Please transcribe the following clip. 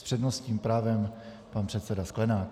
S přednostním právem pan předseda Sklenák.